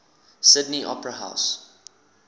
sydney opera house